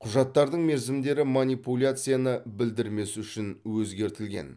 құжаттардың мерзімдері манипуляцияны білдірмес үшін өзгертілген